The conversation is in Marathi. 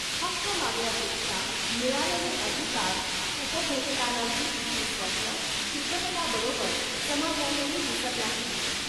हक्क मागण्यापेक्षा मिळालेले अधिकार उपभोगतानाची तिची स्वप्न चित्रपटाबरोबर समाजातही दिसत राहिली.